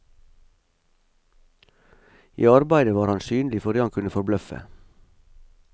I arbeidet var han synlig fordi han kunne forbløffe.